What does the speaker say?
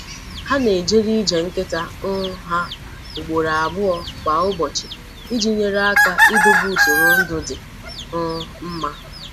Ha na-ejere ije nkịta um ha ugboro abụọ kwa ụbọchị iji nyere aka idobe usoro ndụ dị um mma.